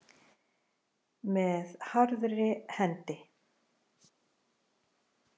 Með harðri hendi